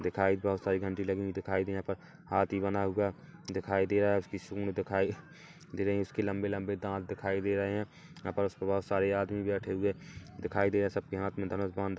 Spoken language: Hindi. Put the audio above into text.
दिखाई बहुत सारी घंटी लगी हुई दिखाई दे रही यहाँ पर हाथी बना हुआ दिखाई दे रहा है उसकी सूंढ़ दिखाई दे रही उसके लंबे-लंबे दांत दिखाई दे रहे है यहाँ पर बहुत सारे आदमी बैठे हुए दिखाई दे रहे है सबके हाथ में धनुष बाण--